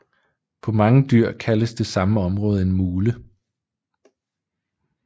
På mange dyr kaldes det samme område en mule